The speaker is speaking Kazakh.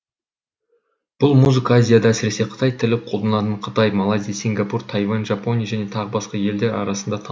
бұл музыка азияда әсіресе қытай тілі қолданылатын қытай малайзия сингапур тайвань жапония және тағы басқа елдер арасында